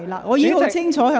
我已很清楚提醒你。